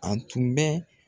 A tun bɛ